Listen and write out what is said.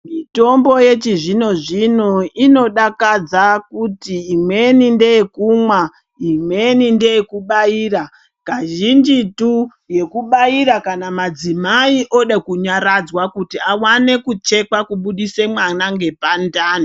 Mitombo yechizvino zvino inodakadza kuti imweni ndeyekumwa, imweni ndeyekubaira. Kazhinjitu yekubaira kana madzimai oda kunyaradzwa kuti awane kuchekwa kubudiswa mwana ngepandani.